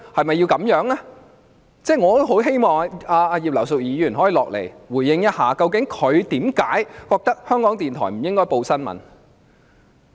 我也很希望葉議員可以回應，究竟她為何認為港台不應該報道新聞。